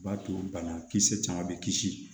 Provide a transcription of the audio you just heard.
O b'a to banakisɛ caman bɛ kisi